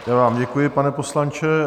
Já vám děkuji, pane poslanče.